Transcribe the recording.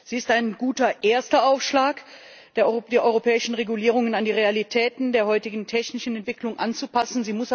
Sie ist ein guter erster Aufschlag, die europäischen Regulierungen an die Realitäten der heutigen technischen Entwicklungen anzupassen.